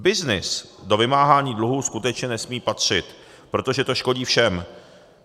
Byznys do vymáhání dluhů skutečně nesmí patřit, protože to škodí všem.